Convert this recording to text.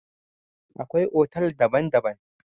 Akwai otal daban-daban.